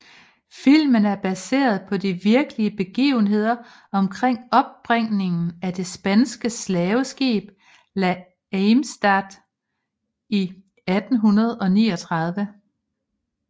Filmen er baseret på de virkelige begivender omkring opbringningen af det spanske slaveskib La Amistad i 1839